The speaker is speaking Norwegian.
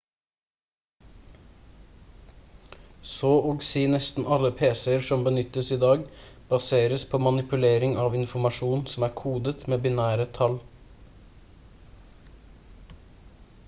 så og si nesten alle pc-er som benyttes i dag baseres på manipulering av informasjon som er kodet med binære tall